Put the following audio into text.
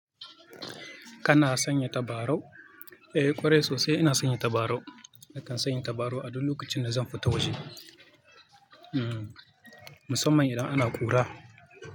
Kana sanya tabarau? Eh ƙwarai sosai ina sanya tabarau. Nakan sanya tabarau a duk lokacin da zan fita waje. Hmm musamman idan ana ƙura.